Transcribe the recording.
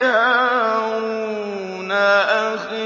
هَارُونَ أَخِي